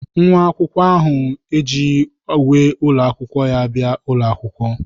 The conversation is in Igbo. Nwa akwụkwọ ahụ ejighị uwe ụlọ akwụkwọ ya bịa ụlọ akwụkwọ.